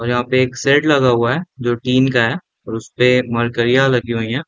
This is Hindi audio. यहाँ पे एक सेद लगा हुआ है जो टीन का है और उसपे मरक्यरयाँ लगी हुईं हैं।